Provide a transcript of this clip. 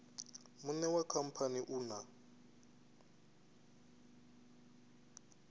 muṋe wa khamphani u na